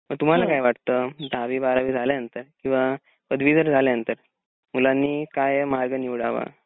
तर तुम्हाला काय वाटत दहावी बारावी झाल्या नंतर किंवा पदवीधर झाल्या नंतर मुलांनी काय मार्ग निवडावा?